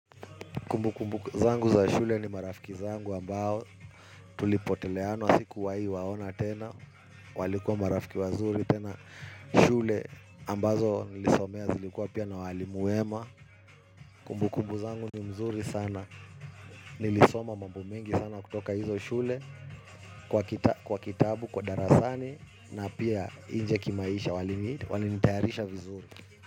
Kumbu kumbu zangu za shule ni marafiki zangu ambao tulipoteleana sikuwahi waona tena walikuwa marafiki wazuri tena shule ambazo nilisomea zilikuwa pia na walimu wema. Kumbukumbu zangu ni nzuri sana nilisoma mambo mingi sana kutoka hizo shule kwa kitabu kwa darasani na pia nje kimaisha walinitayarisha vizuri.